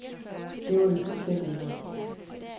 Det var vi fuldstændigt imod.